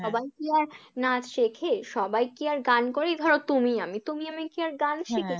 সবাই কি আর নাচ শেখে? সবাই কি আর গান করে? এই ধরো তুমি আমি, তুমি আমি কি আর গান শিখি? হ্যাঁ হ্যাঁ